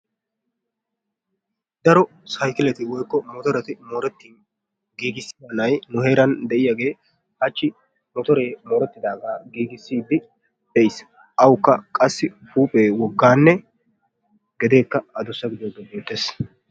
daro saykkileti woykko motoreti moorettin giigissiya na'ay nu heeran de'iyaagee hachchi motoree morettidagaa giigissiiddi pe'is. awukka qassi huuphphee woggaanne gedeekka adussa gidiyogee beettees.